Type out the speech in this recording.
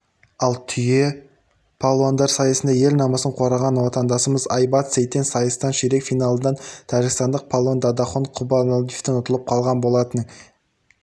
ал түйе палуандар сайысында ел намысын қорғаған отандасымыз айбат сейтен сайыстын ширек финалында тәжікстандық палуан дадахон құрбаналиевтен ұтылып қалған болатын